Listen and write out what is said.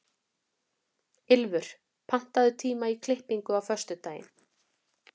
Ylfur, pantaðu tíma í klippingu á föstudaginn.